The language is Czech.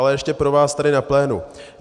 Ale ještě pro vás tady na plénu.